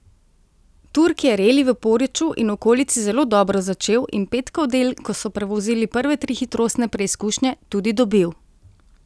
Turk je reli v Poreču in okolici zelo dobro začel in petkov del, ko so prevozili prve tri hitrostne preizkušnje, tudi dobil.